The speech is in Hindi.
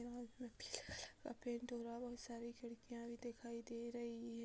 लाल कलर पीले कलर का पेंट हो रहा है बहुत सारी खिड़कियां भी दिखाई दे रही हैं।